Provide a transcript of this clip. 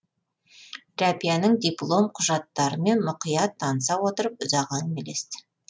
рәбияның диплом құжаттарымен мұқият таныса отырып ұзақ әңгімелесті